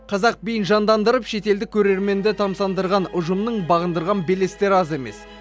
қазақ биін жандандырып шетелдік көрерменді тамсандырған ұжымның бағындырған белестері аз емес